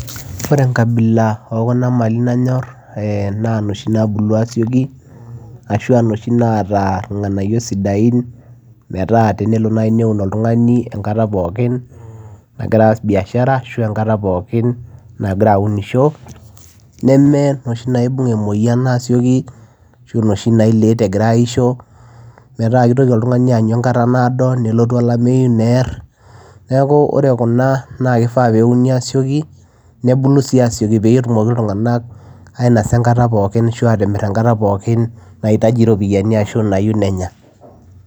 ore enkabila okuna mali nanyorr eh naa noshi nabulu asioki ashua inoshi naata irng'anayio sidain metaa tenelo naaji neun oltung'ani enkata pookin nagira aas biashara ashu enkata pookin nagira aunisho neme inoshi naibung emoyian asioki ashu inoshi nae late egira aisho metaa kitoki oltung'ani aanyu enkata naado nelotu olameyu nerr neeku ore kuna naa kifaa peuni asioki nebulu sii asioki petumoki iltung'anak ainasa enkata pookin ashu atimirr enkata pookin naitaji iropiyiani ashu nayieu nenya.